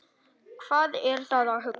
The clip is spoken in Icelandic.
Hvað er það að hugsa?